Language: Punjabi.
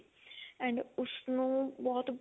and ਉਸਨੂੰ ਬਹੁਤ